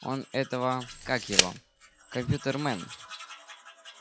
он этого как его компьютермен